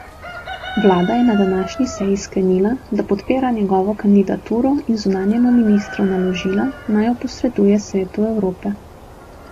Vlada je na današnji seji sklenila, da podpira njegovo kandidaturo in zunanjemu ministrstvu naložila, naj jo posreduje Svetu Evrope.